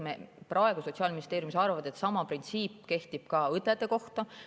Me praegu Sotsiaalministeeriumis arvame, et sama printsiip kehtib ka õdede kohta.